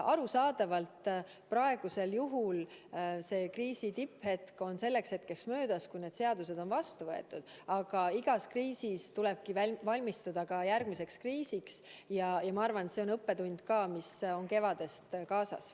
Arusaadavalt on praeguse kriisi tipphetk selleks ajaks möödas, kui need muudatused saavad vastu võetud, aga igas kriisis tulebki valmistuda ka järgmiseks kriisiks ja ma arvan, et see on ka õppetund, mis on kevadest kaasas.